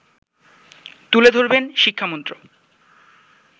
তুলে ধরবেন শিক্ষামন্ত্র